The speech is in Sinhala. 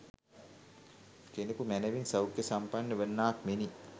කෙනෙකු මැනවින් සෞඛ්‍ය සම්පන්න වන්නාක් මෙනි.